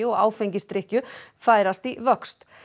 og áfengisdrykkju færast í vöxt